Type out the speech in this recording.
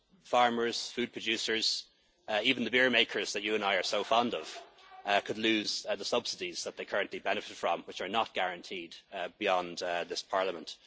in the world. Farmers, food producers, even the beer makers that you and I are so fond of, could lose the subsidies that they currently benefit from, which are not guaranteed beyond this